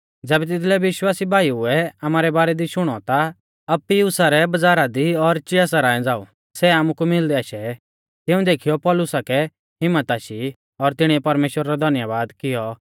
ज़ैबै तिदलै विश्वासी भाईउऐ आमारै बारै दी शुणौ ता अप्पियुसा रै बज़ारा दी और चिया सरांय झ़ांऊ सै आमुकु मिलदै आशै तिऊं देखीयौ पौलुसा कै हिम्मत आशी और तिणीऐ परमेश्‍वरा रौ धन्यबाद कियौ